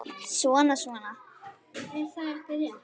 Svona, svona